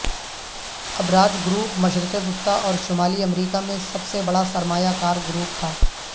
Abraaj group مشرق وسطی اور شمالی امریکہ میں سب سے بڑا سرمایہ کار گروپ تھا